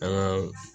An ka